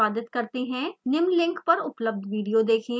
निम्न link पर उपलब्ध video देखें